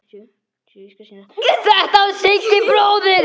Þetta var Siggi bróðir.